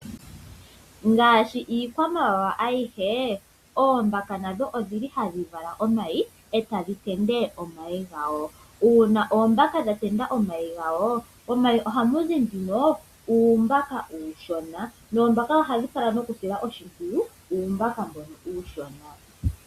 Ngaashi iikwamawawa ayihe oombaka nadho ohadhi vala omayi e tadhi tendula omayi gayo, uuna oombaka dha tendula omayi gadho momayi ohamu zi nduno uumbaka uushona noombaka ohadhi kala nokusila oshimpwiyu uumbaka mbono uushona.